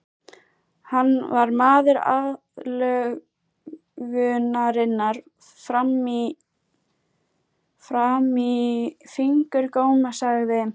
Hann var maður aðlögunarinnar fram í fingurgóma, sagði